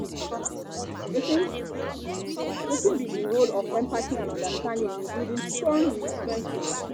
wetin be wetin be di role of empathy and understanding in building strong frienships?